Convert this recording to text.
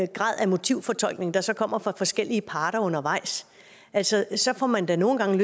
grad af motivforskning der så kommer fra forskellige parter undervejs altså så får man da nogle gange